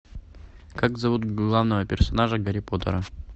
как зовут главного персонажа гарри поттера